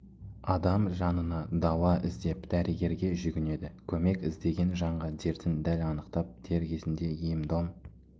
адам жанына дауа іздеп дәрігерге жүгінеді көмек іздеген жанға дертін дәл анықтап дер кезінде ем-дом